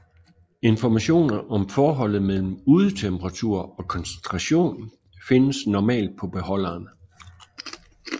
Informationer om forholdet mellem udetemperatur og koncentration findes normalt på beholderen